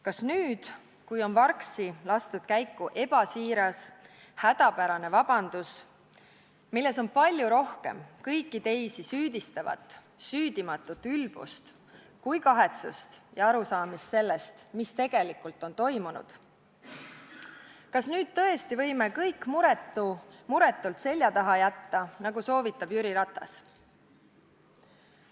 Kas nüüd, kui on vargsi lastud käiku ebasiiras hädapärane vabandus, milles on palju rohkem kõiki teisi süüdistavat süüdimatut ülbust kui kahetsust ja arusaamist sellest, mis tegelikult on toimunud, kas tõesti nüüd võime kõik muretult selja taha jätta, nagu soovitab Jüri Ratas?